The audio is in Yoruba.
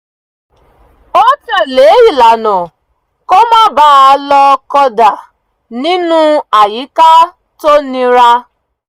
ó tẹ̀lé ìlànà kó má bà á lò kódà nínú àyíká tó nira